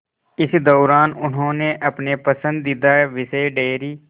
इस दौरान उन्होंने अपने पसंदीदा विषय डेयरी